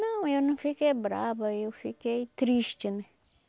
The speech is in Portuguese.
Não, eu não fiquei brava, eu fiquei triste, né?